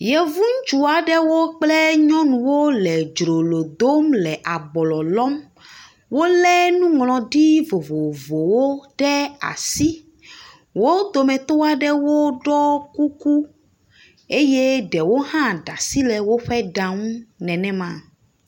Yevu ŋutsu aɖewo kple nyɔnuwo le dzrolo dom le ablɔ lɔm. Wolé nuŋlɔɖi vovovowo ɖe asi, wo dometɔ aɖewo ɖɔ kuku eye ɖewo hã ɖe asi le woƒe ɖa ŋu nenema.